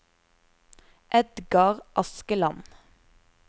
Edgar Askeland